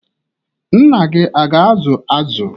Nna gị aga-azụ azụ?